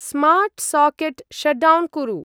Smart socket shutdown कुरु।